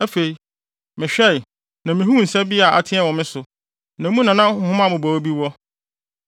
Afei mehwɛe, na mihuu nsa bi a ateɛ wɔ me so, na mu na nhoma mmobɔwee bi wɔ.